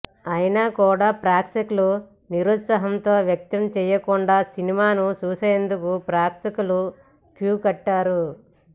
అయినా కూడా ప్రేక్షకులు నిరుత్సాహం వ్యక్తం చేయకుండా సినిమాను చూసేందుకు ప్రేక్షకులు క్యూ కట్టారు